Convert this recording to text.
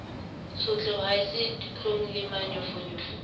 tshotleho ha se ditlhong lemanyofonyofo